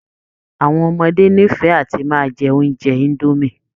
Àwọn ọmọdé nífẹ̀ẹ́ àti máa jẹ oúnjẹ indomie